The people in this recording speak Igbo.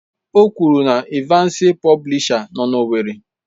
O kwuru na Evansi Publisha nọ na owerri.